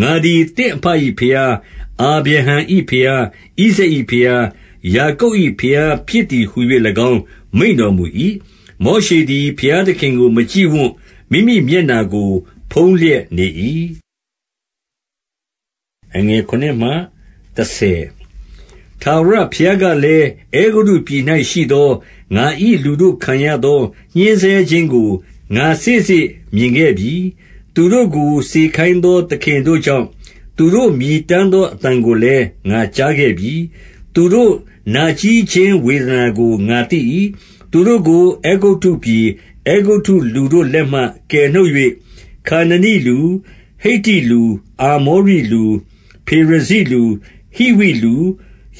၊ 6 ငါသည်သင့်အဘ၏ဘုရား၊ အာဗြဟံ၏ဘုရား၊ ဣဇာက်၏ဘုရား၊ ယာကုပ်၏ဘုရားဖြစ်သည်ဟူ၍၎င်း မိန့်တော်မူ၏။ မောရှသည် ဘုရားသခင်ကိုမကြည့်ဝံ့၊ မိမိမျက်နှာကို ဖုံးလျက်နေ၏။ 7 ထာဝရဘုရားကလည်း၊ အဲဂုတ္တုပြည်၌ရှိသော ငါ၏လူတို့ခံရသော ညှဉ်းဆဲခြင်းကို ငါစေ့စေ့မြင်ခဲ့ပြီ။ သူတို့ကို စေခိုင်းသော သခင်တို့ကြောင့် သူတို့မြည်တမ်းသောအသံကိုလည်း ငါကြားခဲ့ပြီ။ သူတို့နာကြည်းခြင်း ဝေဒနာကို ငါသိ၏။ 8 သူတို့ကို အဲဂုတ္တုပြည်၊ အဲဂုတ္တုလူတို့လက်မှ ကယ်နှုတ်၍၊ ခါနနိလူ၊ ဟိတ္တိလူ၊ အာမောရိလူ၊ ဖေရဇိလူ၊ ဟိဝိလူ၊